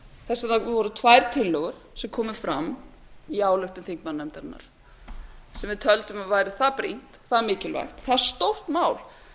þetta voru tvær tillögur sem komu fram í áliti þingmannanefndarinnar sem við töldum að væri það brýnt það mikilvægt það stórt mál